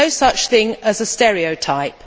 There is no such thing as a stereotype.